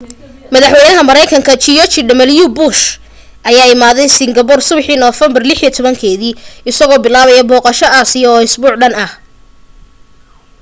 madaxwaynaha maraykanka george w bush ayaa imaaday singapore subixii november 16 isagoo bilaabayo booqasho asia oo isbuuc dhan